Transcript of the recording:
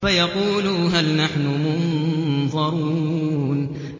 فَيَقُولُوا هَلْ نَحْنُ مُنظَرُونَ